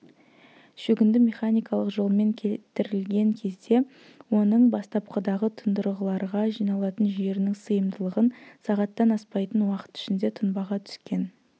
шөгінді механикалық жолмен кетірілген кезде оның бастапқыдағы тұндырғыларға жиналатын жерінің сыйымдылығын сағаттан аспайтын уақыт ішінде тұнбаға түскен